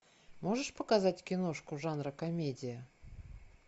можешь показать киношку жанра комедия